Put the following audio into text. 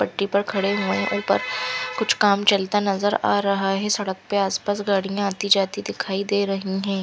पट्टी पर खड़े हुए हैं ऊपर कुछ काम चलता नज़र आ रहा है सड़क पे आसपास गाड़ियाँ आती जाती दिखाई दे रही हैं।